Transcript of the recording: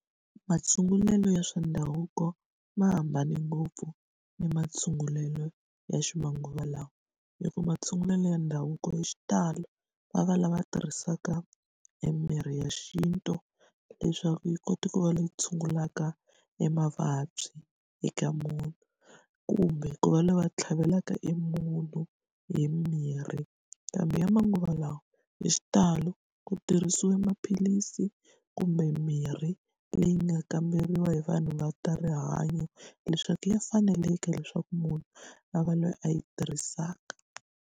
Matshungulelo ya swa ndhavuko, ma hambane ngopfu na matshungulelo ya ximanguva lawa. Hikuva matshungulelo ya ndhavuko hi xitalo va va lava tirhisaka emirhi ya xintu leswaku yi kota ku va leyi tshungulaka emavabyi eka munhu, kumbe ku va lava tlhavelaka emunhu hi mirhi. Kambe ya manguva lawa, hi xitalo ku tirhisiwe maphilisi kumbe mirhi leyi nga kamberiwa hi vanhu va ta rihanyo, leswaku ya faneleka leswaku munhu a va loyi a yi tirhisaka.